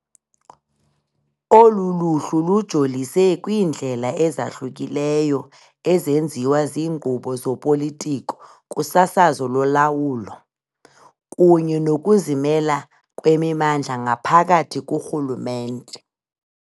Olu luhlu lujolise kwiindlela ezahlukileyo ezenziwa ziinkqubo zopolitiko kusasazo lolawulo, kunye nokuzimela kwemimandla ngaphakathi kurhulumente.